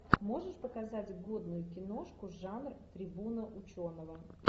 можешь показать годную киношку жанр трибуна ученого